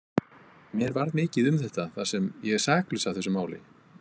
Mér varð mikið um þetta, þar sem ég er saklaus af þessu máli.